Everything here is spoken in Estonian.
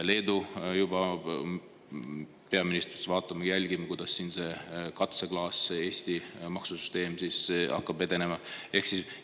Leedus peaminister juba ütles, et nad vaatavad ja jälgivad, kuidas see katseklaas, see Eesti maksusüsteem, edenema hakkab.